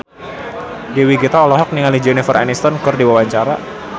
Dewi Gita olohok ningali Jennifer Aniston keur diwawancara